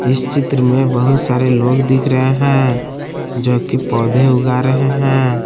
इस चित्र में बहुत सारे लोग दिख रहे हैं जो कि पौधे उगा रहे हैं।